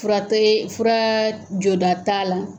Fura tɛ fura joda t'a la.